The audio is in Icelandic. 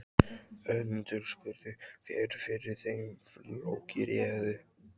Önundur spurði hver fyrir þeim flokki réði.